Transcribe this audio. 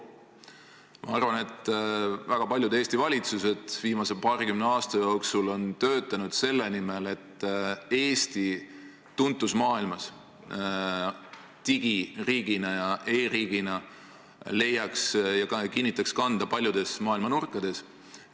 Ma arvan, et väga paljud Eesti valitsused viimase paarikümne aasta jooksul on töötanud selle nimel, et Eesti tuntus maailmas digiriigina ja e-riigina leiaks tähelepanu ja kinnitaks kanda paljudes maailma nurkades.